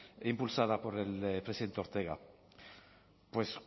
impulsada por el presidente ortega pues